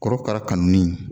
Korokara kanu nin